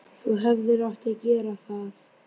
Þú hefðir átt að gera það.